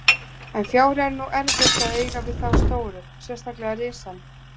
En fjári er nú erfitt að eiga við þá stóru, sérstaklega risann.